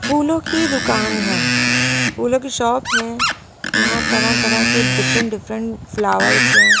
फूलों की दुकान है फूलों की शॉप है यहां तरह-तरह के डिफरेंट डिफरेंट फ्लावर्स हैं।